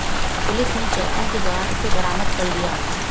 police ने checking के दौरान इसे बरामद कर लिया